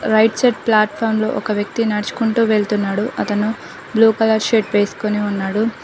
Right side platform లో ఒక వ్యక్తి నడ్చుకుంటూ వెళ్తున్నాడు అతను బ్లూ కలర్ షర్ట్ వేస్కొని ఉన్నాడు.